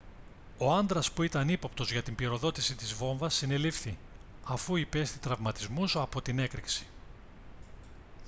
ο άντρας που ήταν ύποπτος για την πυροδότηση της βόμβας συνελήφθη αφού υπέστη τραυματισμούς από την έκρηξη